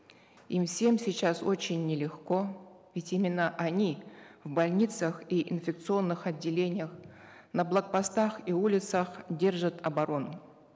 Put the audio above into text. им всем сейчас очень нелегко ведь именно они в больницах и инфекционных отделениях на блок постах и улицах держат оборону